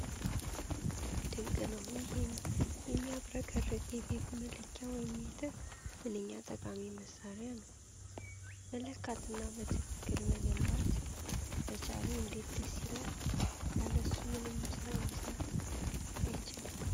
ድንቅ ነው! ይህ የሚያብረቀርቅ የቴፕ መለኪያ (ሜትር) ምንኛ ጠቃሚ መሣሪያ ነው! መለካትና በትክክል መገንባት መቻሉ እንዴት ደስ ይላል! ያለሱ ምንም ሥራ መሥራት አይቻልም!